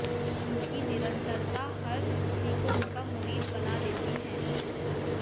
उनकी निरंतरता हर किसी को उनका मुरीद बना देती है